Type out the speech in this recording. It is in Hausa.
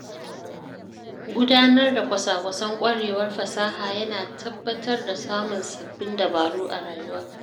Gudanar da kwasa-kwasan ƙwarewar fasaha ya na tabbatar da samun sabbin dabaru a rayuwa.